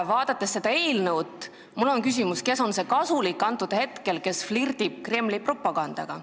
Vaadates seda eelnõu, tekib mul küsimus, kes on see kasulik idioot, kes flirdib Kremli propagandaga.